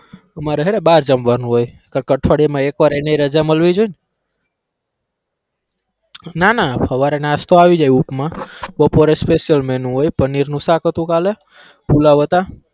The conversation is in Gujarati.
તો મારે હે ને બાર જમવાનું હોય એક અઠવાડિયામા એક વાર એની રજા મળવી જોવેને ના ના હવારે નાસ્તો આવી જાય ઉપમા બપોરે special menu હોય પનીરનું શાક હતું કાલે પુલાવ હતા.